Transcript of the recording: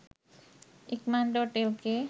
ikaman.lk